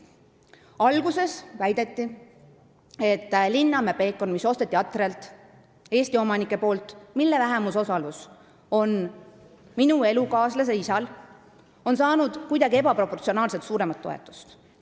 Alguses väideti, nagu Linnamäe Peekon, mille Eesti omanikud Atrialt ostsid ja mille vähemusosalus on minu elukaaslase isal, oleks saanud kuidagi ebaproportsionaalselt suurt toetust.